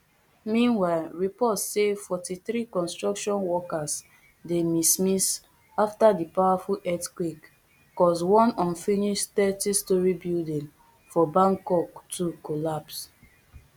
meanwhile reports say fortythree construction workers dey miss miss afta di powerful earthquake cause one unfinished thirtystorey building for bangkok to collapse